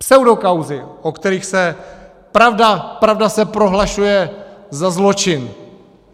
Pseudokauzy, o kterých se pravda, pravda se prohlašuje za zločin.